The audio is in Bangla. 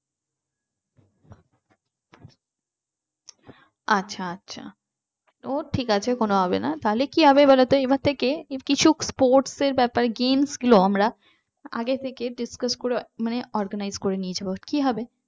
আচ্ছা আচ্ছা ও ঠিক আছে কোন হবে না থাক তাহলে কি হবে বলতো এবার থেকে কিছু sports এর ব্যাপার games গুলো আমরা আগে থেকে discuss করে মানে organize করে নিয়ে যাব কি হবে